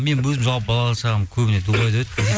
мен өзім жалпы балалық шағым көбіне дубайда өтті